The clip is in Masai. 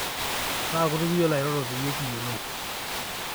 kaa kutuk iyiolo airoro peyie kiyiolou